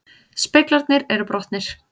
Speglarnir eru brotnir